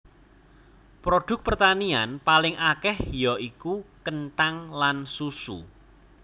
Produk pertanian paling akèh ya iku kenthang lan susu